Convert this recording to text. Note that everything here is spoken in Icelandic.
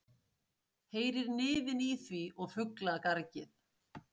Heyrir niðinn í því og fuglagargið.